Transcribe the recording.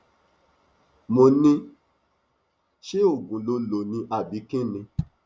mo ní ṣé oògùn ló lò lò ni àbí kín ni